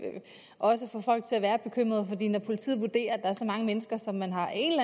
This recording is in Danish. også få folk til at være bekymrede fordi når politiet vurderer at der er så mange mennesker som man har en